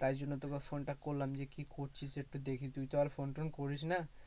তাই জন্য তোকে phone টা করলাম যে কি করছিস একটু দেখি তুই তো আর phone -টোন করিস না।